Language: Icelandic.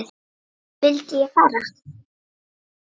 Vildi ég fara?